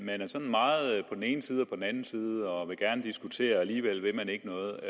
ene side og på den anden side og vil gerne diskutere og alligevel vil man ikke noget